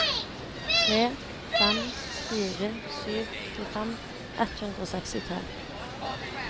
tre fem fire sju tjuefem ett hundre og sekstitre